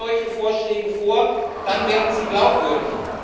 Legen Sie solche Vorschläge vor, dann werden Sie glaubwürdig.